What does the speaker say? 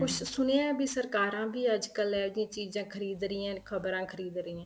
ਪਰ ਕੁੱਛ ਸੁਣਿਆ ਵੀ ਸਰਕਾਰਾਂ ਵੀ ਅੱਜ ਕੱਲ ਇਹ ਜੀਆਂ ਚੀਜ਼ਾਂ ਖ਼ਰੀਦ ਰਹੀਆਂ ਨੇ ਖਬਰਾਂ ਖ਼ਰੀਦ ਰਹੀਆਂ